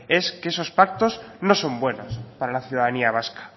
es que esos pactos no son buenos para la ciudadanía vasca